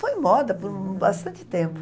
Foi moda por bastante tempo.